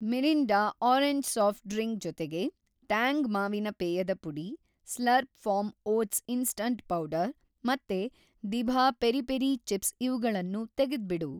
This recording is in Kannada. ಮಿರಿಂಡಾ ಆರೆಂಜ್‌ ಸಾಫ಼್ಟ್‌ ಡ್ರಿಂಕ್ ಜೊತೆಗೆ ಟ್ಯಾಂಗ್ ಮಾವಿನ ಪೇಯದ ಪುಡಿ, Slurrp Farm oats instant powder ಮತ್ತೆ ದಿಭಾ ಪೆರಿ ಪೆರಿ ಚಿಪ್ಸ್ ಇವ್ಗಳನ್ನೂ ತೆಗೆದ್ಬಿಡು.